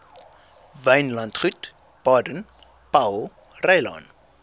wynlandgoed baden powellrylaan